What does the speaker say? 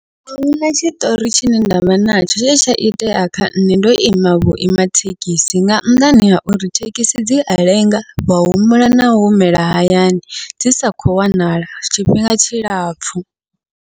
Ahuna tshiṱori tshine ndavha natsho tshine tsha itea kha nṋe ndo ima vhuima thekhisi, nga nnḓani ha uri thekhisi dzia lenga wa humbula na humela hayani dzi sa khou wanala tshifhinga tshilapfhu.